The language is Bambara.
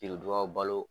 Biridugaw balo